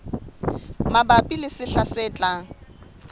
mabapi le sehla se tlang